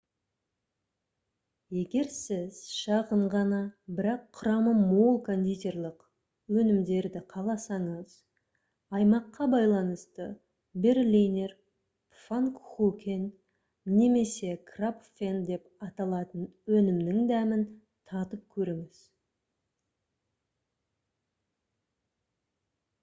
егер сіз шағын ғана бірақ құрамы мол кондитерлік өнімдерді қаласаңыз аймаққа байланысты berliner pfannkuchen немесе krapfen деп аталатын өнімнің дәмін татып көріңіз